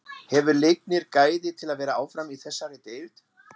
Hefur Leiknir gæði til að vera áfram í þessari deild?